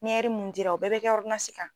Ni mun dila o bɛɛ bɛ kɛ kan.